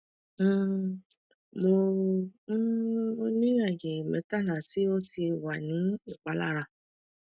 um mo um mo ni aaye mẹtala ti o ti wa ni ipalara